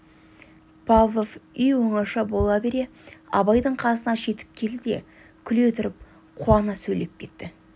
павлов үй оңаша бола бере абайдың қасына жетіп келді де күле тұрып қуана сөйлеп кетті